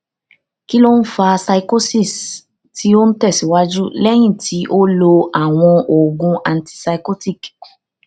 kí ló ń fa psychosis tí ó ń tẹsíwájú lẹyìn tí ó lo àwọn oògùn antipsychotic